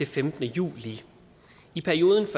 femtende juli i perioden